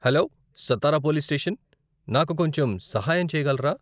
Hello, Satara police station, నాకు కొంచెం సహాయం చేయగలరా?